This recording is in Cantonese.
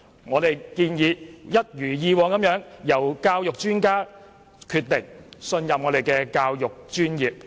我們建議一如以往由教育專家決定有關內容，信任我們的教育專業。